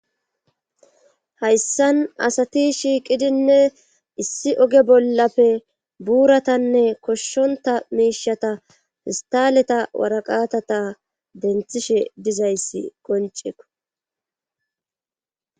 Hayssan asati shiiqidinne issi oge bollappe buuratanne koshshonta miishata fistaleta waraqatata denthishe dizayssi qonceeko